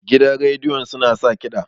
gidan rediyon suna sa kida